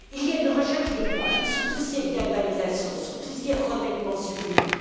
Il y a une recherche de pointe sur tout ce qui est galvanisation, sur tout ce qui est revêtement sous vide.